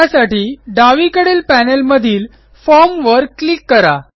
त्यासाठी डावीकडील पॅनेलमधील formवर क्लिक करा